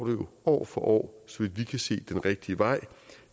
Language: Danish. jo år for år så vidt vi kan se den rigtige vej